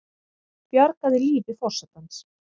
Bjargaði lífi forsetans